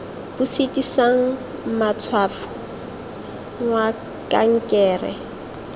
bo sitisang matshwafo mwamd kankere